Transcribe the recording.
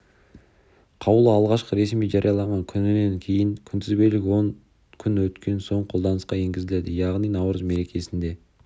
қаулы алғашқы ресми жарияланған күнінен кейін күнтізбелік он күн өткен соң қолданысқа енгізіледі яғни наурыз мерекесінде